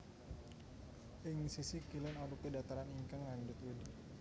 Ing sisih kilén arupi dhataran ingkang ngandhut wedhi